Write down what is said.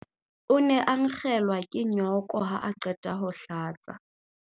O ne a nkgelwa ke nyooko ha a qeta ho hlatsa.